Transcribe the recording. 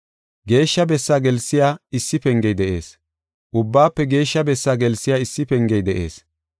Geeshsha Bessaa gelsiya issi pengey de7ees; Ubbaafe Geeshsha Bessaa gelsiya issi pengey de7ees.